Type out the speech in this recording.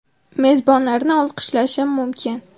Mezbonlarni olqishlashim mumkin.